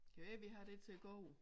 Kan være vi har det til gode